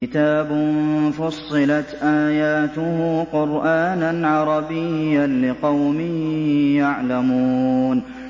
كِتَابٌ فُصِّلَتْ آيَاتُهُ قُرْآنًا عَرَبِيًّا لِّقَوْمٍ يَعْلَمُونَ